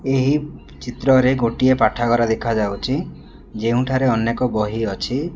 ଏହି ଚିତ୍ରରେ ଗୋଟିଏ ପାଠାଗାର ଦେଖାଯାଉଛି ଯେଉଁଠାରେ ଅନେକ ବହି ଅଛି।